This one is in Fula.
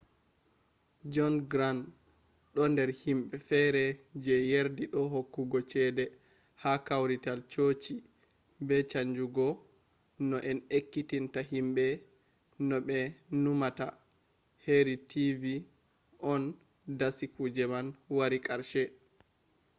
jon grant ɗo nder himɓe fere je yardi do hokkugo cede ha kawrital chochi be chanjugo no en ekkitinta himɓe no ɓe numata heri tv on dasi kuje man wari karshe